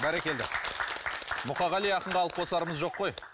бәрекелді мұқағали ақынға алып қосарымыз жоқ қой